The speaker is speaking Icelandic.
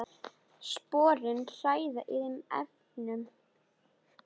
Sporin hræða í þeim efnum.